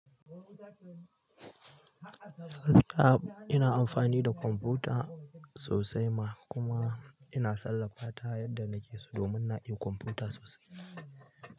A gaskiya ina amfani da kwamfuta sosai ma kuma ina sarrafata yadda nake so domin na iya kwamfuta sosai.